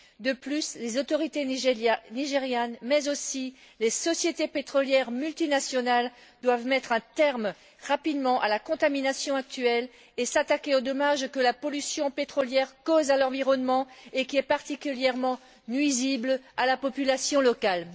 De plus, les autorités nigérianes, mais aussi les sociétés pétrolières multinationales, doivent mettre un terme rapidement à la contamination actuelle et s'attaquer aux dommages que la pollution pétrolière cause à l'environnement et qui est particulièrement nuisible à la population locale.